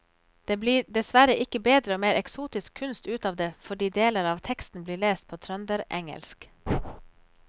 Det blir dessverre ikke bedre og mer eksotisk kunst ut av det fordi deler av teksten blir lest på trønderengelsk.